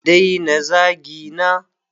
A daina zagina!